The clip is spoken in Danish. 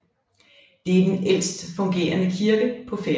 Det er den ældst fungerende kirke på Færøerne